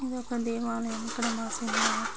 ఇది ఒక దేవాలయము ఇక్కడ మాసిన --